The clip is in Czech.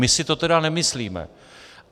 My si to tedy nemyslíme.